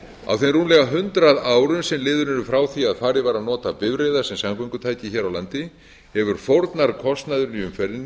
á þeim rúmlega hundrað árum sem liðin eru frá því að farið var að nota bifreiðar sem samgöngutæki hér á landi hefur fórnarkostnaðurinn í